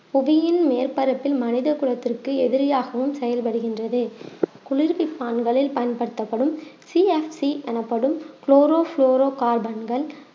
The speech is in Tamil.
புவியின் மேற்பரப்பில் மனித குலத்திற்கு எதிரியாகவும் செயல்படுகின்றது குளிர்விப்பான்களில் பயன்படுத்தப்படும் CFC எனப்படும் குளோரோ ப்ளோரோ கார்பன்கள்